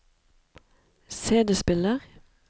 CD-spiller